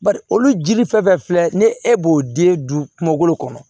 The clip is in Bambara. Bari olu jiri fɛn fɛn filɛ ni e b'o den dun kungolo kɔnɔ